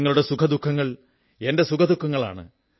നിങ്ങളുടെ സുഖദുഃഖങ്ങൾ എന്റെ സുഖദുഃഖങ്ങളാണ്